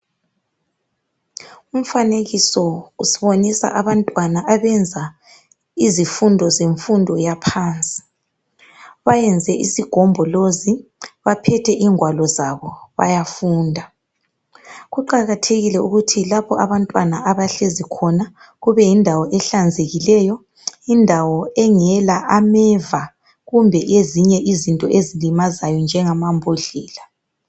umfanekiso usibonisa abantwana abenza izifundo zemfundo yaphansi bayenze isigombolozi baphethe ingwalo zabo bayafunda kuqakathekile ukuthi lapho abantwana bahlezi khona kube yindawo ehlanzekileyo indawo engela ameva kumbe ezinye izinto ezilimazayo njengama mbodlela